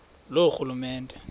loorhulumente